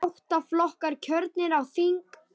Átta flokkar kjörnir á þing.